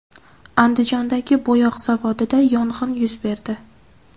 Andijondagi bo‘yoq zavodida yong‘in yuz berdi.